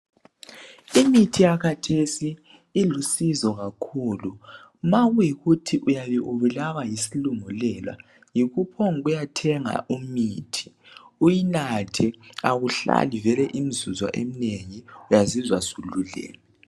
Imithi yakhathesi ilusizo kakhulu nxa kuyikuthi uyabe ubulawa yisilungulelo yikuphombu kuyathenga imithi uyinathe awuhlali imzuzo eminengi uyazizwa sululeme